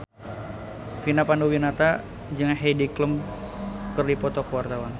Vina Panduwinata jeung Heidi Klum keur dipoto ku wartawan